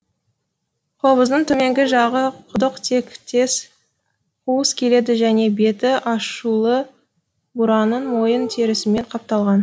қобыздың төменгі жағы құдық тектес қуыс келеді және беті ашулы бураның мойын терісімен қапталған